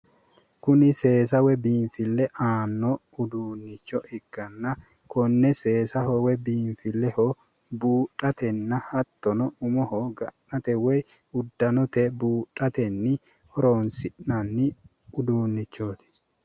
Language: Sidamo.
Kuni seesa woyi biinfille aanno uduunnicho ikkanna konne seesaho woyi biinfilleho buudhatenna hattono umohu ga'nate woyi uddanote buudhatenni horonsi'nanni uduunnichooti.